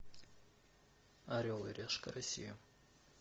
орел и решка россия